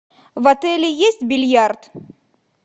в отеле есть бильярд